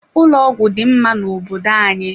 Ụlọ ọgwụ dị mma na obodo anyị.